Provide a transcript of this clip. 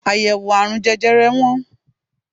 Àyèwò àrùn jẹjẹre wọ́n.